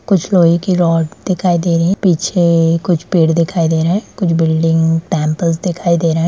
कुछ लोहे की रॉड दिखाई दे रही हैं पीछे कुछ पेड़ दिखाई दे रहे है और कुछ बिल्डिंग टेम्पल्स दिखाई दे रहे हैं।